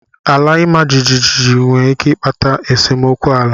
Ala imajiji nwere ike ịkpata nsemokwu ala.